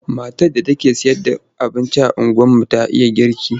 Matar da take sayarda abinci a unguwarmu ta iya girki.